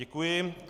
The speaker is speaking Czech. Děkuji.